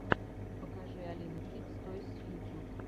покажи алину кидс тойс ютюб